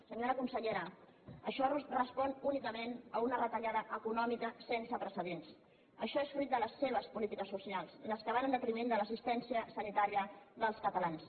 senyora consellera això respon únicament a una retallada econòmica sense precedents això és fruit de les seves polítiques socials les que van en detriment de l’assistència sanitària dels catalans